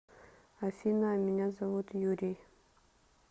афина а меня зовут юрий